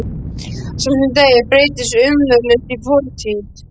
Sá sem deyr breytist umsvifalaust í fortíð.